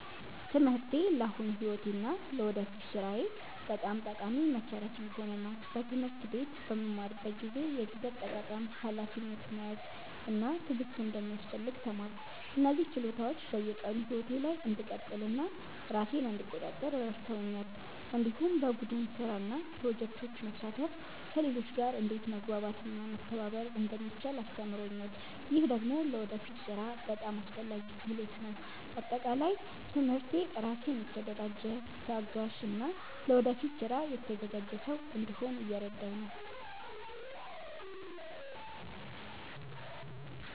ትምህርቴ ለአሁኑ ሕይወቴ እና ለወደፊት ሥራዬ በጣም ጠቃሚ መሠረት እየሆነ ነው። በትምህርት ቤት በምማርበት ጊዜ የጊዜ አጠቃቀም፣ ሀላፊነት መያዝ እና ትዕግስት እንደሚያስፈልግ ተማርኩ። እነዚህ ችሎታዎች በየቀኑ ሕይወቴ ላይ እንድቀጥል እና ራሴን እንድቆጣጠር ረድተውኛል። እንዲሁም በቡድን ስራ እና በፕሮጀክቶች መሳተፍ ከሌሎች ጋር እንዴት መግባባት እና መተባበር እንደሚቻል አስተምሮኛል። ይህ ደግሞ ለወደፊት ሥራ በጣም አስፈላጊ ክህሎት ነው። በአጠቃላይ ትምህርቴ ራሴን የተደራጀ፣ ታጋሽ እና ለወደፊት ስራ የተዘጋጀ ሰው እንድሆን እየረዳኝ ነው።